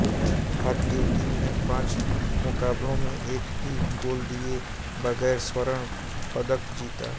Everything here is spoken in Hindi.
भारतीय टीम ने पांच मुक़ाबलों में एक भी गोल दिए बगैर स्वर्ण पदक जीता